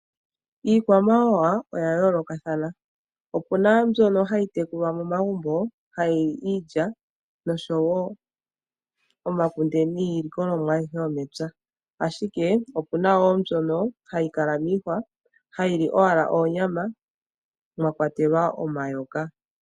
Iikwamawawa oya yoolokathana opu na mbyoka hayi tekulwa momagumbo, hayi li iilya, nosho wo omakunde niilikolomwa ayihe yomepya. Ashike opuna mbyoka hayi kala miihwa hayi li oonyama mwa kwatelwa omayoka.